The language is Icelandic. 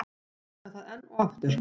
Ítreka það enn og aftur.